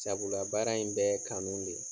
Sabula baara in bɛ ye kanu de ye.